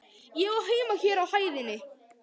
Ég á heima hér á hæðinni.